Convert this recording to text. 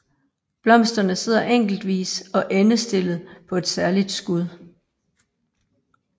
Blomsterne sidder enkeltvis og endestillet på et særligt skud